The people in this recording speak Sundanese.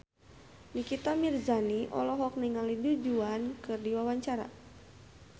Nikita Mirzani olohok ningali Du Juan keur diwawancara